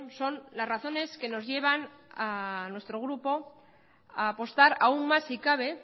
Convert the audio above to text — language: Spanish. son las razones que nos llevan a nuestro grupo a apostar aun más si cabe